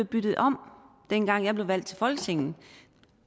byttet om dengang jeg blev valgt til folketinget